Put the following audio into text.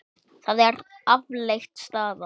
Það er afleit staða.